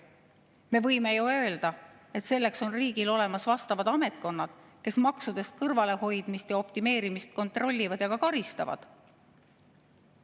Me võime ju öelda, et selleks on riigil olemas vastavad ametkonnad, kes maksudest kõrvalehoidmist ja optimeerimist kontrollivad ja ka karistavad.